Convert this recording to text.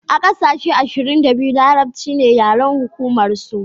a ƙasashe ashirin da biyu larabci ne yaren hukumar su